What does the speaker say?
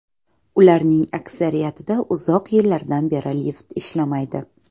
Ularning aksariyatida uzoq yillardan beri lift ishlamaydi.